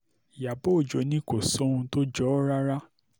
ìyàbọ̀ ọjọ́ ni kò sóhun tó jọ ọ́ rárá